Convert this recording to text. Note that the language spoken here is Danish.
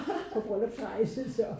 På bryllupsrejse så